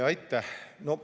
Aitäh!